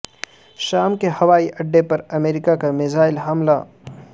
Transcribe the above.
شام کے ہوائی اڈے پر امریکہ کا میزائل حملہ